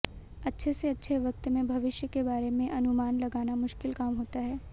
अच्छे से अच्छे वक्त में भविष्य के बारे में अनुमान लगाना मुश्किल काम होता है